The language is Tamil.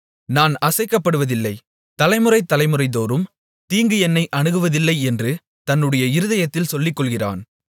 நான் அசைக்கப்படுவதில்லை தலைமுறை தலைமுறைதோறும் தீங்கு என்னை அணுகுவதில்லை என்று தன்னுடைய இருதயத்தில் சொல்லிக்கொள்ளுகிறான்